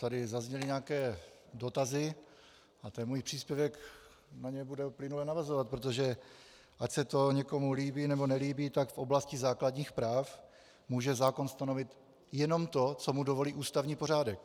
Tady zazněly nějaké dotazy a ten můj příspěvek na ně bude plynule navazovat, protože ať se to někomu líbí, nebo nelíbí, tak v oblasti základních práv může zákon stanovit jenom to, co mu dovolí ústavní pořádek.